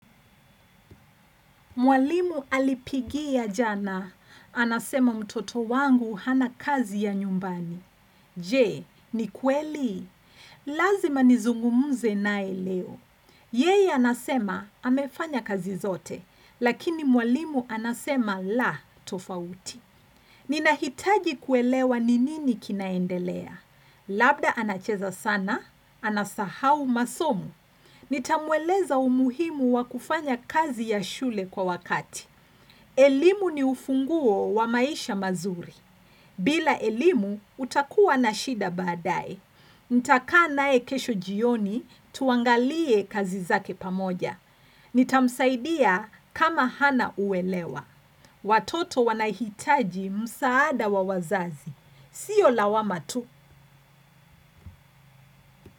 Mwalimu alipigia jana. Anasema mtoto wangu hana kazi ya nyumbani. Je, ni kweli? Lazima nizungumuze nae leo. Yeye anasema, amefanya kazi zote. Lakini mwalimu anasema, la, tofauti. Nina hitaji kuelewa ni nini kinaendelea. Labda anacheza sana, anasahau masomu. Nitamweleza umuhimu wa kufanya kazi ya shule kwa wakati. Elimu ni ufunguo wa maisha mazuri. Bila elimu utakuwa na shida baadae. Nitakaa naye kesho jioni tuangalie kazi zake pamoja. Nitamsaidia kama hana uelewa. Watoto wanahitaji msaada wa wazazi. Sio lawama tu.